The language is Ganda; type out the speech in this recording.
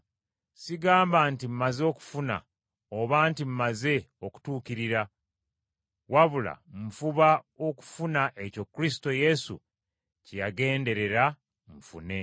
Sigamba nti mmaze okufuna oba nti mmaze okutuukirira, wabula nfuba okufuna ekyo Kristo Yesu kye yagenderera nfune.